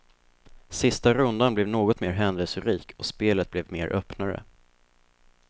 Sista rundan blev något mer händelserik och spelet blev mer öppnare.